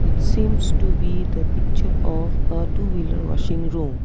seems to be the picture of uh two wheeler washing room.